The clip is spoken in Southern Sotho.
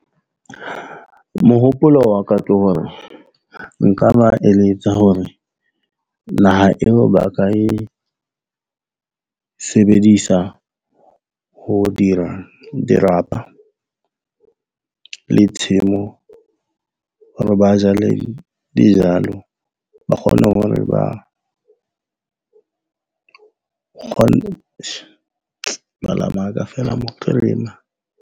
Mohopolo wa ka ke hore nka ba eletsa hore naha eo ba ka e sebedisa, ho dira dirapa le tshimo hore ba jale dijalo, ba kgone hore ba .